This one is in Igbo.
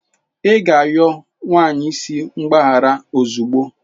Ị ga-arịọ nwa isi mgbaghara ozugbo!